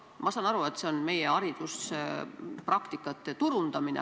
Ma saan aru, et eesmärk on meie hariduspraktikate turundamine.